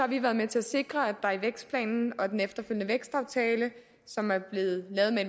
vi været med til at sikre at der i vækstplanen og den efterfølgende vækstaftale som er blevet lavet med